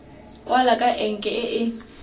kwalwa ka enke e e